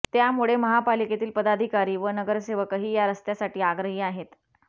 त्यामुळे महापालिकेतील पदाधिकारी व नगरसेवकही या रस्त्यासाठी आग्रही आहेत